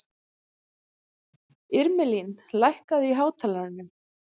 Irmelín, lækkaðu í hátalaranum.